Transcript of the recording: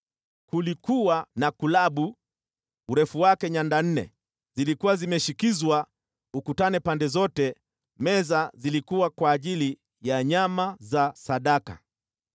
Kulikuwa na kulabu, urefu wake nyanda nne, zilikuwa zimeshikizwa ukutani pande zote. Meza zilikuwa kwa ajili ya nyama za sadaka.